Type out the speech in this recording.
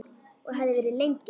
Og hefði verið lengi.